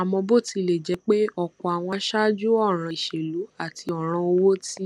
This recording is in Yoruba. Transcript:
àmó bó tilè jé pé òpò àwọn aṣáájú òràn ìṣèlú àti òràn owó ti